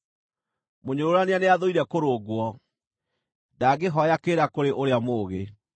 Mũnyũrũrania nĩathũire kũrũngwo; ndangĩhooya kĩrĩra kũrĩ ũrĩa mũũgĩ.